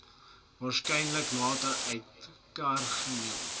waarskynlik later uitmekaargehaal